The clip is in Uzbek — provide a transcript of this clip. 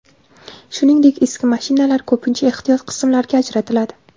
Shuningdek, eski mashinalar ko‘pincha ehtiyot qismlarga ajratiladi.